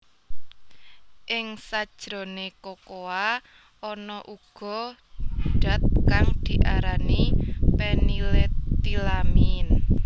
Ing sajroné kokoa ana uga dat kang diarani phenylethylamine